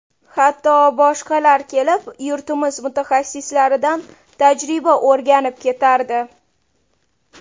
Hatto boshqalar kelib, yurtimiz mutaxassislaridan tajriba o‘rganib ketardi.